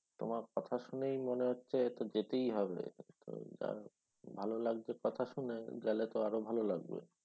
তোমার কথা শুনেই মনে হচ্ছে এ তো যেতেই হবে তো যা ভালো লাগছে কথা শুনে গেলে তো আরও ভালো লাগবে